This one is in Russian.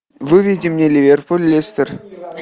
выведи мне ливерпуль лестер